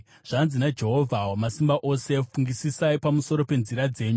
Zvanzi naJehovha Wamasimba Ose: “Fungisisai pamusoro penzira dzenyu.